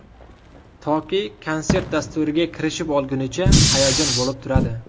Toki konsert dasturiga kirishib olingunicha hayajon bo‘lib turadi.